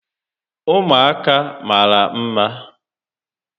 Ụmụaka mara mma